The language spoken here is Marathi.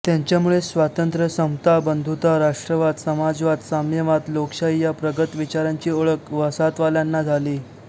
त्यांच्यामुळेच स्वातंत्र्य समता बंधुता राष्ट्रवाद समाजवाद साम्यवाद लोकशाही या प्रगत विचारांची ओळख वसाहतवाल्यांना झाली